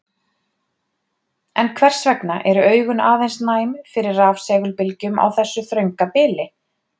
en hvers vegna eru augun aðeins næm fyrir rafsegulbylgjum á þessu þrönga bili